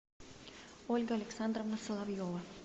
ольга александровна соловьева